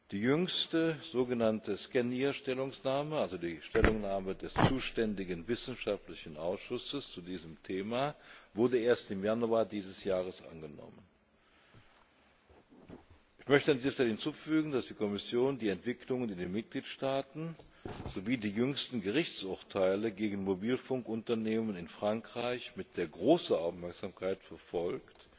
Die jüngste so genannte SCENIHR Stellungnahme also die Stellungnahme des zuständigen wissenschaftlichen Ausschusses zu diesem Thema wurde erst im Januar dieses Jahres angenommen. Ich möchte an dieser Stelle hinzufügen, dass die Kommission die Entwicklungen in den Mitgliedstaaten sowie die jüngsten Gerichtsurteile gegen Mobilfunkunternehmen in Frankreich mit sehr großer Aufmerksamkeit verfolgt